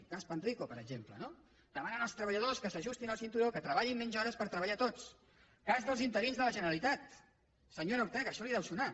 el cas panrico per exemple no demanant als treballadors que s’ajustin el cinturó que treballin menys hores per treballar tots cas dels interins de la generalitat senyora ortega això li deu sonar